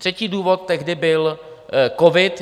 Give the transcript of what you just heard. Třetí důvod tehdy byl covid.